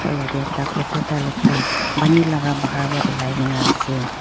or yete ekta crocodile ekta pani laka bahar va ulai kina ase.